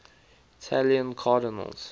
italian cardinals